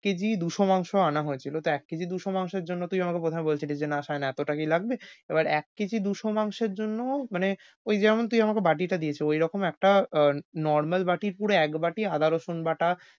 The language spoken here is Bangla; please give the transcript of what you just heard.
কেজি দুইশ মাংস আনা হয়েছিল। তা এক কেজি দুইশ মাংসের জন্য তুই আমাকে বোধয় বলেছিলি যে না সায়ন এতটা কি লাগবে? এবার এক কেজি দুইশ মাংসের জন্য মানে ঐ যেমন তুই আমাকে বাতিটা দিয়েছিলি। ওইরকম একটা normal বাটির পুরো একবাটি আদা রসন বাটা।